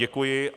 Děkuji.